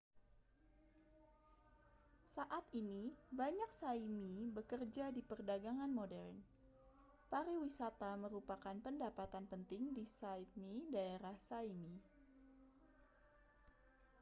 saat ini banyak sã¡mi bekerja di perdagangan modern. pariwisata merupakan pendapatan penting di sã¡pmi daerah sã¡mi